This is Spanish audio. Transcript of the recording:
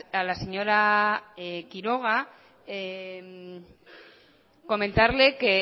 a la señora quiroga comentarle que